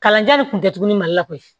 Kalanjan de kun tɛ tugu ni mali la koyi